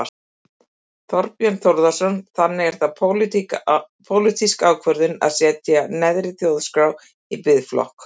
Þorbjörn Þórðarson: Þannig að það er pólitísk ákvörðun að setja neðri Þjórsá í biðflokk?